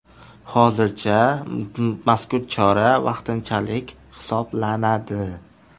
Hozircha mazkur chora vaqtinchalik hisoblanadi.